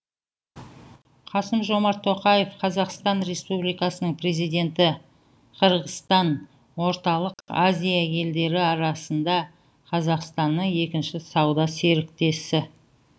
қасым жомарт тоқаев қазақстан республикасының президенті қырғызстан орталық азия елдері арасында қазақстанның екінші сауда серіктесі